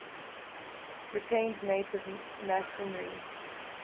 retained native masonry